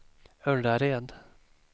Ullared